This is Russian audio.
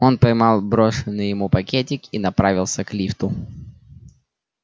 он поймал брошенный ему пакетик и направился к лифту